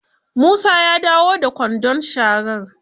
Musa ya dawo da kwandon sharar.